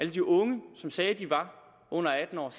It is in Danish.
de unge som sagde at de var under atten år og